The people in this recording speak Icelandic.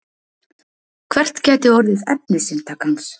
Hvert gæti orðið efnisinntak hans